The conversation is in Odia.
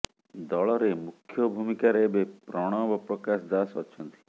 ଦଳରେ ମୁଖ୍ୟ ଭୂମିକାରେ ଏବେ ପ୍ରଣବ ପ୍ରକାଶ ଦାସ ଅଛନ୍ତି